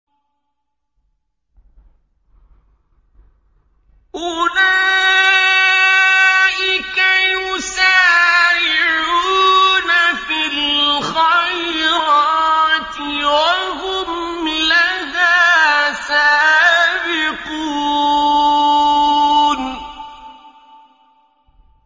أُولَٰئِكَ يُسَارِعُونَ فِي الْخَيْرَاتِ وَهُمْ لَهَا سَابِقُونَ